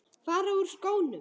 Fara úr skónum.